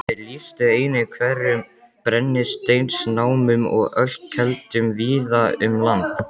Þeir lýstu einnig hverum, brennisteinsnámum og ölkeldum víða um land.